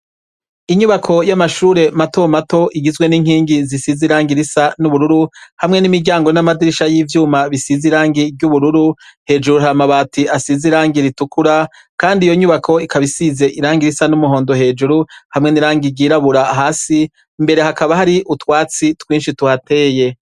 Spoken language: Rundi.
Inyubako yamashure mato mato igizwe ninkingi zisize irangi risa nubururu , hamwe n'imiryango namadirisha yivyuma bisize irangi ryu bururu, hejuru hari amabati a size irangi ritukura kandi iyo nkubako isize irangi risa numuhondo hejuru nirangi ryi rabura hasi mbere hakaba twinshi tuhateye.